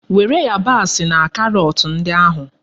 Were yabasi na karọt ndị ahụ!